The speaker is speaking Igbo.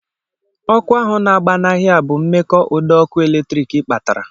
Ọkụ ahụ na-agba n'ahịa bụ nke mmekọ ụdọọkụ eletrik kpatara